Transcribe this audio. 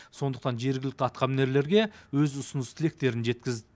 сондықтан жергілікті атқамінерлерге өз ұсыныс тілектерін жеткізді